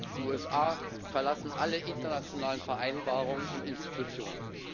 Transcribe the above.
Die USA verlassen alle internationalen Vereinbarungen und Institutionen.